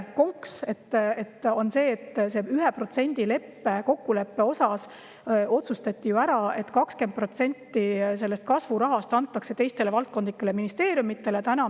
Konks on selles, et selle 1% kokkuleppe osas otsustati ju ära, et 20% sellest kasvurahast antakse teistele valdkondlikele ministeeriumidele.